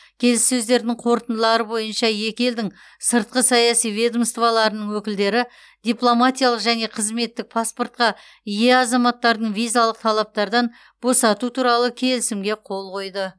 келіссөздердің қорытындылары бойынша екі елдің сыртқы саяси ведомстволарының өкілдері дипломатиялық және қызметтік паспортқа ие азаматтардың визалық талаптардан босату туралы келісімге қол қойды